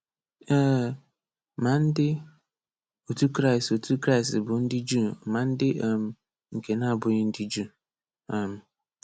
Ee, ma ndị otu Kraịst otu Kraịst bụ ndị Juu ma ndị um nke na-abụghị ndị Juu. um